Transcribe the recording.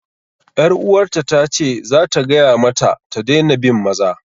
'Yaruwarta ta ce za ta gaya mata ta daina bin maza.